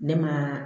Ne ma